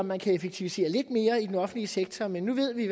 man kan effektivisere lidt mere i den offentlige sektor men nu ved vi